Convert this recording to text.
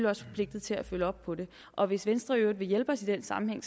også forpligtet til at følge op på det og hvis venstre i øvrigt vil hjælpe os i den sammenhæng